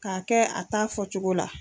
K'a kɛ a ta fɔcogo la.